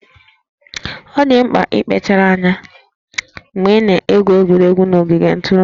Ọ dị mkpa ịkpachara anya mgbe ị na-egwu egwuregwu n'ogige ntụrụndụ